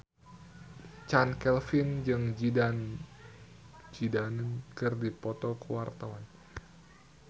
Chand Kelvin jeung Zidane Zidane keur dipoto ku wartawan